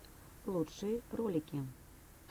лучшие ролики